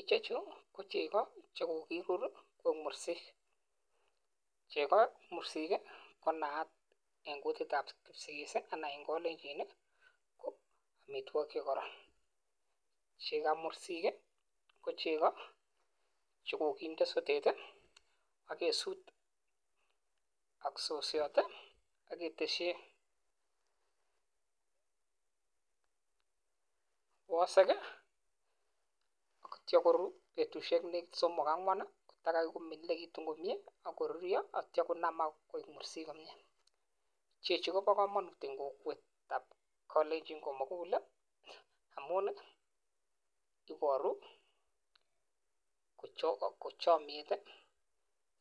Ichechu ko cheko chekokiruri koik murenik cheko mursik kii ko naat en kutitab kipsigis sii anan en kolenjin Nii ko omitwokik chekororon. Chekaba mursik kii ko cheko chekokinde sotet tii ak kesut ak sosiot tii ak keteshi wosiki ak ityo koruu betushek somok akoi angwan nii kotakai komindililekitun komie akoruryo ak ityo konamak koik mursik komie. Chechu Kobo komonut en kokwetab kolenjin komuguli amun nii iboru kochomiet tii